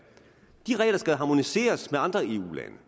de regler skal harmoniseres med andre eu lande